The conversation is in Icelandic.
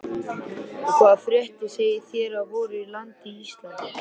Og hvaða fréttir segið þér af voru landi Íslandi?